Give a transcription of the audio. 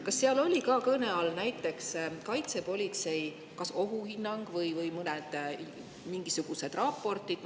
Kas seal olid kõne all näiteks kaitsepolitsei ohuhinnang või mingisugused raportid?